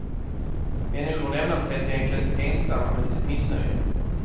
Människor lämnas helt enkelt ensamma med sitt missnöje.